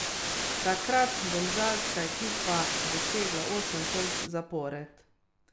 Takrat domžalska ekipa dosegla osem točk zapored.